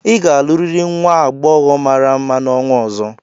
ị ga-alụrịrị nwa agbọghọ mara mma n'ọnwa ọzọ!